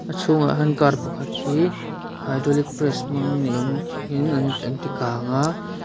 a chhungah hian car pakhat hi hydraulic press hmang ni awm takin an ti kang a.